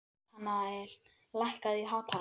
Natanael, lækkaðu í hátalaranum.